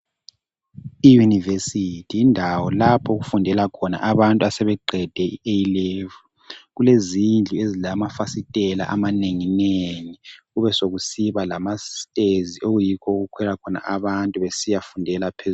Iyunivesithi yindawo lapho okufundela khona abantu abaqede i A level, kulezindlu ezilamafasitela amanenginegi kube sokusiba lama stezi okuyikho okukhwela khona abantu besiyafundela phe.